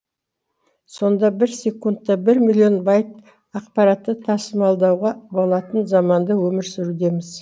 сонда бір секундтта бір миллион байт ақпаратты тасымалдауға болатын заманда өмір сүрудеміз